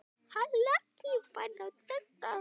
Allt lesefni var á þýsku.